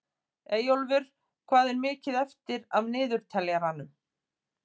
Eyjólfur, hvað er mikið eftir af niðurteljaranum?